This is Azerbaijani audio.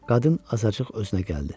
Qadın azacıq özünə gəldi.